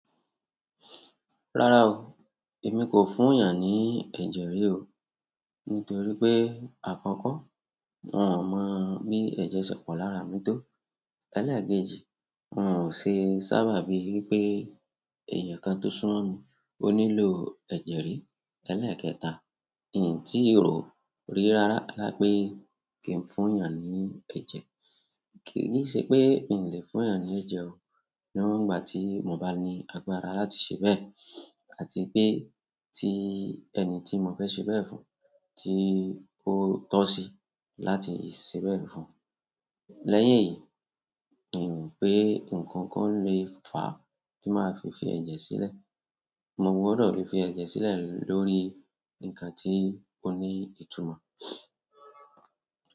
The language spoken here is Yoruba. Rárá o, èmi kò fún èèyàn ní ẹ̀jẹ̀ rí o. Nítorí pé àkọ́kọ́, wọ́n ò mọ bí ẹ̀jẹ̀ ṣe pọ̀ lára mi tó. Elékeji hun ò ṣe sábà bíi wípé èyàn kan tó sún mo mi o nílò ẹ̀jẹ̀ rí. Elékẹta n tí rò ó rí rárá pẹ kí n fún yàn ní ẹ̀jẹ̀. Kì si ṣe pé n lè fún èèyàn ní ẹ̀jẹ̀ o, ní wọn ìgbà tí mo bá ní agbára láti ṣe bẹ́ẹ̀ àti pé tí ẹni tí mo fẹ́ ṣe bẹ́ẹ̀ fún tí ó tọ́ sí láti ṣe bẹ́ẹ̀ fún. Lẹ́yìn èyí, n rò pé ǹkan kan lè fa ti màá fi fí ẹ̀jẹ̀ sílẹ̀. Mo gbọ́dọ̀ fi ẹ̀jẹ̀ sílẹ̀ lórí ǹkan tí ó ní ìtumọ̀.